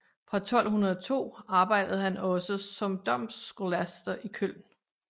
Fra 1202 arbejdede han også som domscholaster i Køln